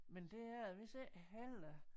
Men det er det vist ikke heller